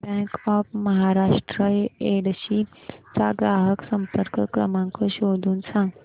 bank of Maharashtra Yedshi चा ग्राहक संपर्क क्रमांक शोधून सांग